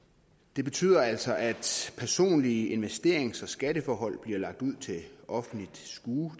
det betyder altså at personlige investerings og skatteforhold bliver lagt ud til offentligt skue